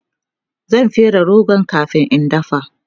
zan fere rogon kamin in dafa